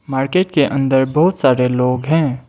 Market के अंदर बहुत सारे लोग हैं।